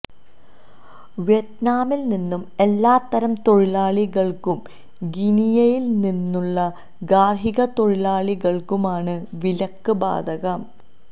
വിയറ്റ്നാമിൽനിന്ന് എല്ലാ തരം തൊഴിലാളികൾക്കും ഗിനിയയിൽ നിന്നുള്ള ഗാർഹിക തൊഴിലാളികൾക്കും ആണ് വിലക്ക് ബാധകം